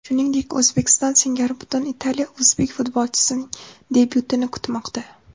Shuningdek, O‘zbekiston singari butun Italiya o‘zbek futbolchisining debyutini kutmoqda.